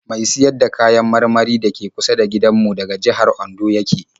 Mai siyar da kayan marmari da ke kusa da gindanmu daga jihar Ondo ya ke